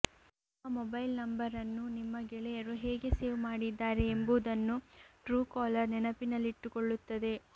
ನಿಮ್ಮ mobile number ಅನ್ನು ನಿಮ್ಮ ಗೆಳೆಯರು ಹೇಗೆ ಸೇವ್ ಮಾಡಿದ್ದಾರೆ ಎಂಬುದನ್ನು ಟ್ರೂ ಕಾಲರ್ ನೆನಪಿನಲ್ಲಿಟ್ಟುಕೊಳ್ಳುತ್ತದೆ